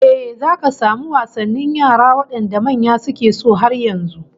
Eh, zaka samu wasannin yara wadanda manya suke so har yanzu